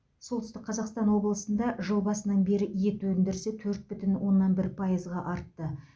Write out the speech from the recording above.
солтүстік қазақстан облысында жыл басынан бері ет өндірісі төрт бүтін оннан бір пайызға артты